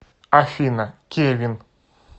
афина кевин